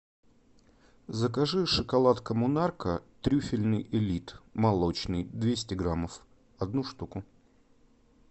закажи шоколад коммунарка трюфельный элит молочный двести граммов одну штуку